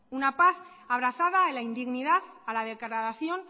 una paz abrazada a la indignidad a la degradación